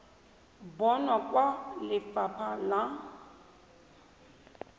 bonwa kwa go lefapha la